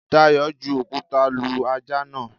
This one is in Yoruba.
Dayọ̀ ju òkúta lu ajá náà.